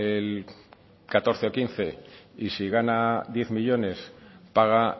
el catorce o quince y si gana diez millónes paga